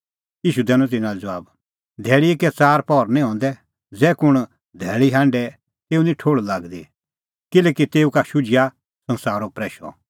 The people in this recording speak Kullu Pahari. ईशू दैनअ तिन्नां लै ज़बाब धैल़ीए कै च़ार पहर निं हंदै ज़ै कुंण धैल़ी हांढे तेऊ निं ठोहल़ लागदी किल्हैकि तेऊ का शुझिआ संसारो प्रैशअ